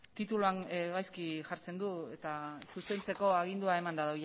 tituluan gaizki jartzen du eta zuzentzeko agindua emanda